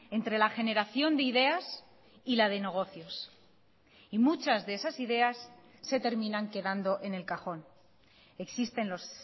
entre la generación de ideas y la de negocios y muchas de esas ideas se terminan quedando en el cajón existen los